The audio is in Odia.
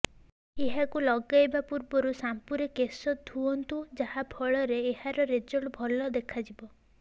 ଏହାକୁ ଲଗାଇବା ପୂର୍ବରୁ ସାମ୍ପୁରେ କେଶ ଧୁଅନ୍ତୁ ଯାହା ଫଳରେ ଏହାର ରେଜଲ୍ଟ ଭଲ ଦେଖାଯିବ